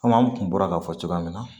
Komi an kun bɔra k'a fɔ cogoya min na